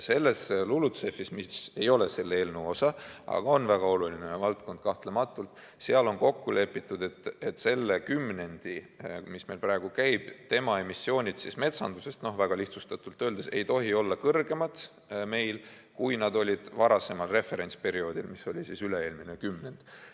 Selles LULUCF-is, mis ei ole selle eelnõu osa, aga on kahtlematult väga oluline valdkond, on kokku lepitud, et selle kümnendi, mis meil praegu käib, emissioonid metsanduses väga lihtsustatult öeldes ei tohi meil olla kõrgemad, kui nad olid varasemal referentsperioodil, mis oli üle-eelmine kümnend.